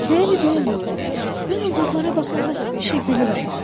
Bəli, bəli, mən ulduzlara baxanda həmişə gülürəm.